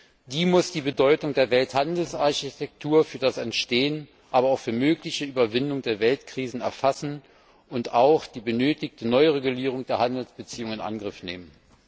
Und diese muss die Bedeutung der Welthandelsarchitektur für das Entstehen, aber auch für die mögliche Überwindung der Weltkrisen erfassen und auch die benötigte Neuregulierung der Handelsbeziehungen in Angriff nehmen.